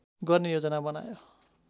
गर्ने योजना बनायो